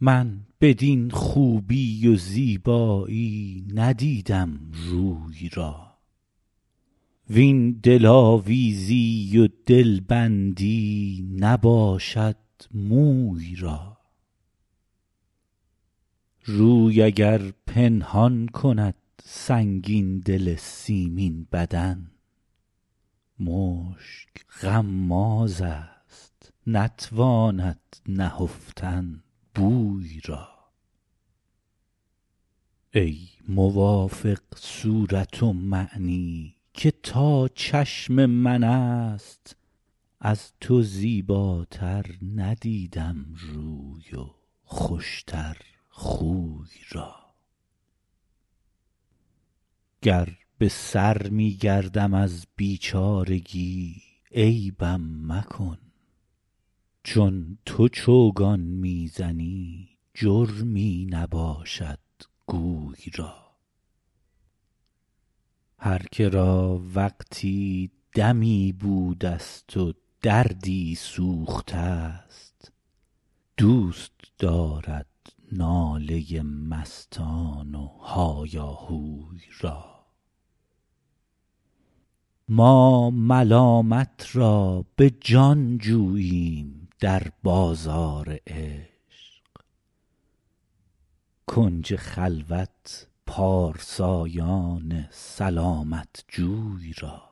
من بدین خوبی و زیبایی ندیدم روی را وین دلآویزی و دلبندی نباشد موی را روی اگر پنهان کند سنگین دل سیمین بدن مشک غمازست نتواند نهفتن بوی را ای موافق صورت ومعنی که تا چشم من است از تو زیباتر ندیدم روی و خوش تر خوی را گر به سر می گردم از بیچارگی عیبم مکن چون تو چوگان می زنی جرمی نباشد گوی را هر که را وقتی دمی بودست و دردی سوخته ست دوست دارد ناله مستان و هایاهوی را ما ملامت را به جان جوییم در بازار عشق کنج خلوت پارسایان سلامت جوی را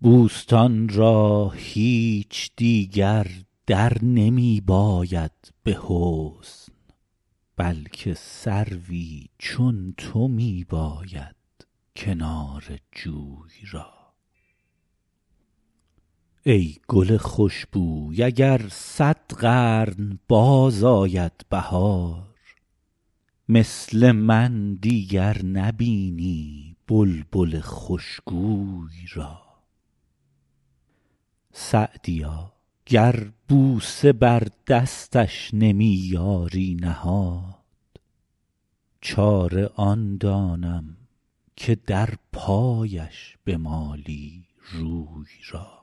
بوستان را هیچ دیگر در نمی باید به حسن بلکه سروی چون تو می باید کنار جوی را ای گل خوش بوی اگر صد قرن باز آید بهار مثل من دیگر نبینی بلبل خوش گوی را سعدیا گر بوسه بر دستش نمی یاری نهاد چاره آن دانم که در پایش بمالی روی را